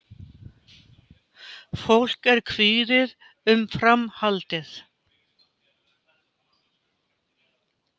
Fólk er kvíðið um framhaldið